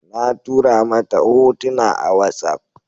Na tura mata hotuna a watsaf